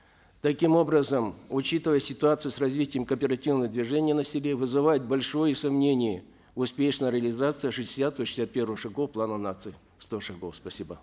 таким образом учитывая ситуацию с развитием кооперативного движения на селе вызывает большое сомнение успешная реализация шестидесятого шестьдесят первого шагов плана нации сто шагов спасибо